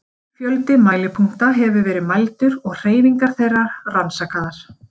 Mikill fjöldi mælipunkta hefur verið mældur og hreyfingar þeirra rannsakaðar.